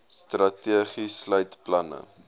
strategie sluit planne